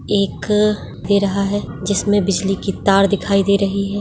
एक रहा है जिसमें बिजली की तार दिखाई दे रही है।